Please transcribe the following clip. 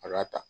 A k'a ta